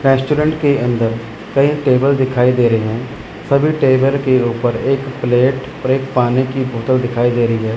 Restaurant के अंदर कई टेबल दिखाई दे रहे हैं सभी टेबल के ऊपर एक प्लेट और एक पानी की बोतल दिखाई दे रही है।